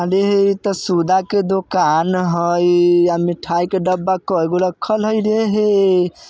त सुधा के दोकान हइ आ मिठाई के डब्बा कैगु रखल हइ रे हे।